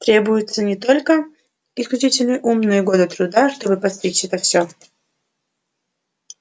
требуется не только исключительный ум но и годы труда чтобы постичь это всё